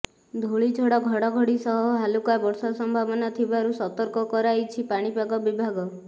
ଧୂଳିଝଡ଼ ଘଡ଼ଘଡ଼ି ସହ ହାଲୁକା ବର୍ଷା ସମ୍ଭାବନା ଥିବାରୁ ସତର୍କ କରାଇଛି ପାଣିପାଗ ବିଭାଗ